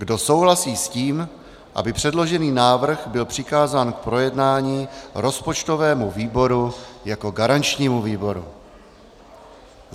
Kdo souhlasí s tím, aby předložený návrh byl přikázán k projednání rozpočtovému výboru jako garančnímu výboru?